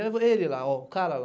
Aí ele lá, ó, o cara lá.